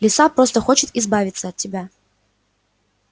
лиса просто хочет избавиться от тебя